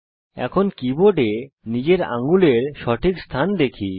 এখন কীবোর্ডে নিজের আঙ্গুলের সঠিক স্থান দেখি